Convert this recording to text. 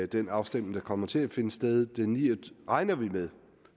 den afstemning der kommer til at finde sted regner vi med